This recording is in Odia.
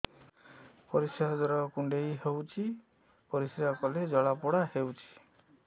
ପରିଶ୍ରା ଦ୍ୱାର କୁଣ୍ଡେଇ ହେଉଚି ପରିଶ୍ରା କଲେ ଜଳାପୋଡା ହେଉଛି